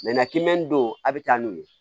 kimi don a bi taa n'o ye